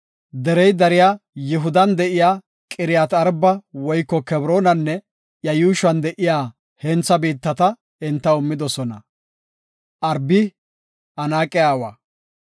Derey dariya Yihudan de7iya Qiriyaat-Arba woyko Kebroonenne iya yuushuwan de7iya hentha biittata entaw immidosona. (Arbi Anaaqe aawa.)